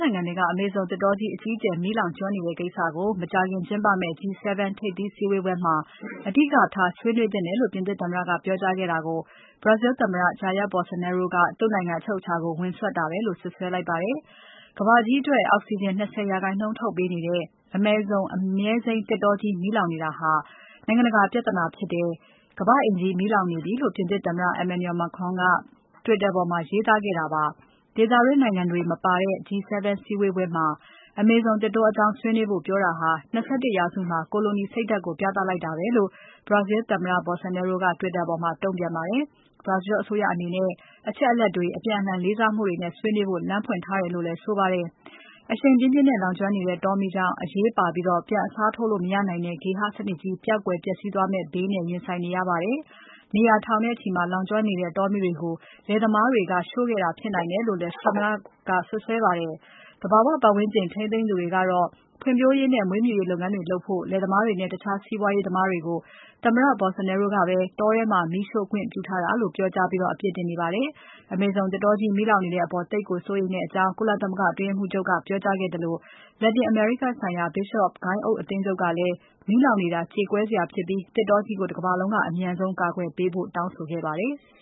နိုင်ငံထဲက အမေဇုံသစ်တောကြီး အကြီးအကျယ်မီးလောင်ကျွမ်းနေတဲ့ကိစ္စကို မကြာခင်ကျင်းပမယ့် G-7 ထိပ်သီးစည်းဝေးပွဲမှာ အဓိကထား ဆွေးနွေးသင့်တယ်လို့ ပြင်သစ်သမ္မတက ပြောကြားခဲ့တာကို Brazil သမ္မတ Jair Bolsonaro က သူ့နိုင်ငံအချုပ်အခြာကို ဝင်စွက်တာပဲလို့ စွပ်စွဲလိုက်ပါတယ်။ ကမ္ဘာကြီးအတွက် အောက်စီဂျင် ၂၀ ရာခိုင်နှုန်း ထုတ်ပေးနေတဲ့ အမေဇုံ အမြဲစိမ်းသစ်တောကြီး မီးလောင်နေတာဟာ နိုင်ငံတကာ ပြဿနာဖြစ်တယ်။ ကမ္ဘာ့အိမ်ကြီး မီးလောင်နေပြီလို့ ပြင်သစ်သမ္မတ Emmanuel Macron က Twitter ပေါ်မှာ ရေးသားခဲ့တာပါ။ ဒေသတွင်းတွေနိုင်ငံတွေမပါတဲ့ G-7 စည်းဝေးပွဲမှာ အမေဇုံသစ်တောအကြောင်း ဆွေးနွေးဖို့ပြောတာဟာ ၂၁ ရာစုမှာ ကိုလိုနီစိတ်ဓါတ်ကို ပြလိုက်တာပဲလို့ Brazil သမ္မတ Bolsonaro က Twitter ပေါ်မှာ တုံ့ပြန်ပါတယ်။ Brazil အစိုးရအနေနဲ့ အချက်အလက်တွေ၊ အပြန်အလှန်လေးစားမှုတွေနဲ့ ဆွေးနွေးဖို့ လမ်းဖွင့်ထားတယ်လို့လည်း ဆိုပါတယ်။ အရှိန်အဟုန်ပြင်းပြင်းနဲ့ လောင်ကျွမ်းနေတဲ့ တောမီးကြောင့် အရေးပါပြီး ပြန်အစားထိုးလို့ မရနိုင်တဲ့ ဂေဟစနစ်ကြီး ပျောက်ကွယ် ပျက်စီးသွားမယ့်ဘေးနဲ့ ရင်ဆိုင်နေရပါတယ်။ နေရာ ထောင်နဲ့ချီမှာ လောင်ကျွမ်းနေတဲ့ တောမီးတွေကို လယ်သမားတွေက ရှို့ခဲ့တာဖြစ်နိုင်တယ်လို့လည်း သမ္မတက စွပ်စွဲပါတယ်။ သဘာဝပတ်ဝန်းကျင် ထိန်းသိမ်းသူတွေကတော့ ဖွံ့ဖြိုးရေးနဲ့ မွေးမြူရေးလုပ်ငန်းတွေလုပ်ဖို့ လယ်သမားတွေနဲ့ တခြားစီးပွားရေးသမားတွေကို သမ္မတ Bolsonaro ကပဲ တောထဲမှာ မီးရှိုခွင့်ပြုထားတာလို့ ပြောကြား အပြစ်တင်နေပါတယ်။ အမေဇုံသစ်တောကြီး မီးလောင်နေတဲ့အပေါ် သိပ်ကို စိုးရိမ်ကြောင်း ကုလသမဂ္ဂအတွင်းရေးမှူးချုပ်က ပြောကြားခဲ့သလို လက်တင်အမေရိကဆိုင်ရာ Bishops အသင်းချုပ်ကလည်း မီးလောင်နေတာ ကြေကွဲစရာဖြစ်ပြီး သစ်တောကြီးကို တကမ္ဘာလုံးက အမြန်ဆုံး ကာကွယ်ပေးဖို့ တောင်းဆိုခဲ့ပါတယ်။